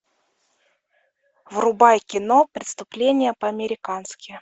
врубай кино преступление по американски